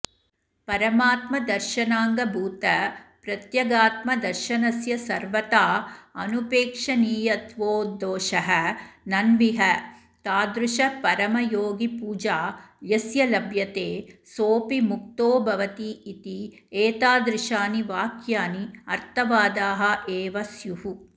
परमात्मदर्शनाङ्गभूतप्रत्यगात्मदर्शनस्य सर्वथा अनुपेक्षणीयत्वोद्धोषः नन्विह तादृशपरमयोगिपूजा यस्य लभ्यते सोऽपि मुक्तो भवतीति एतादृशानि वाक्यानि अर्थवादाः एवस्युः